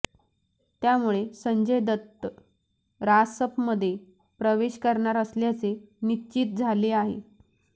त्यामुळे संजय दत्त रासपमध्ये प्रवेश करणार असल्याचे निश्चित झाले आहे